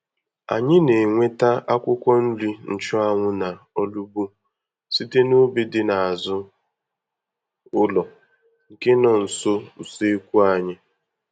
Anyị na-enweta akwụkwọ nri nchụanwụ na olugbu site n'ubi dị n'azụ ụlọ, nke nọ nso useekwu anyị.